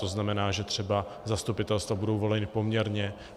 To znamená, že třeba zastupitelstva budou volena poměrně.